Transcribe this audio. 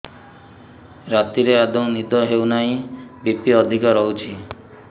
ରାତିରେ ଆଦୌ ନିଦ ହେଉ ନାହିଁ ବି.ପି ଅଧିକ ରହୁଛି